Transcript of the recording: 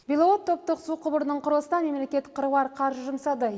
беловод топтық су құбырының құрылысына мемлекет қыруар қаржы жұмсады